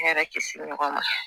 ne yɛrɛ kisi ɲɔgɔn ma